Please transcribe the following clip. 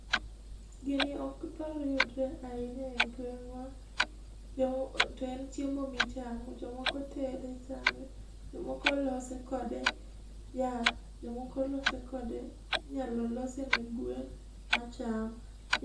Gini ok thor yudre ahinya e gweng'wa, jo to en chiemo michamo . Jomoko tede chame, jomoko loso kode yath, jomoko loso kode inyalo lose ne gwen macham.